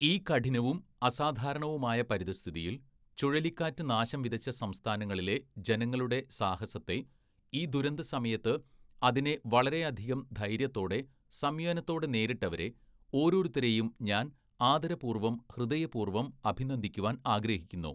"ഈ കഠിനവും അസാധാരണവുമായ പരിതസ്ഥിതിയില്‍, ചുഴലിക്കാറ്റ് നാശംവിതച്ച സംസ്ഥാനങ്ങളിലെ ജനങ്ങളുടെ സാഹസത്തെ, ഈ ദുരന്ത സമയത്ത് അതിനെ വളരെയധികം ധൈര്യത്തോടെ, സംയനത്തോടെ നേരിട്ടവരെ, ഓരോരുത്തരെയും ഞാന്‍ ആദരപൂര്‍വ്വം, ഹൃദയപൂര്‍വ്വം അഭിനന്ദിക്കുവാന്‍ ആഗ്രഹിക്കുന്നു. "